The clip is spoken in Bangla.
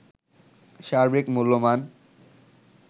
সার্বিক মূল্যমান